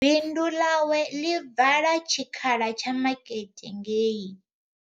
Bindu ḽawe ḽi vala tshikhala tsha makete ngei.